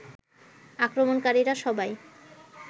আক্রমণকারীরা সবাই